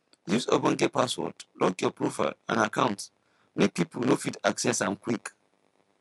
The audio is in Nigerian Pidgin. use ogbonge password lock your profile and accounts make pipo no fit access am quick